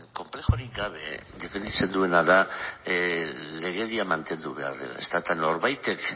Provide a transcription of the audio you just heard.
grabazioa ipini dute konplexurik gabe defenditzen duena da legedia mantendu behar dela eta norbaitek